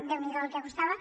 déu n’hi do el que costava